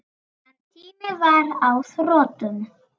En tíminn var á þrotum.